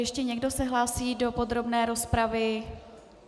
Ještě někdo se hlásí do podrobné rozpravy?